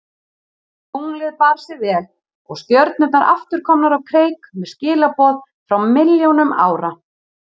Tunglið bar sig vel og stjörnurnar aftur komnar á kreik með skilaboð frá milljónum ára.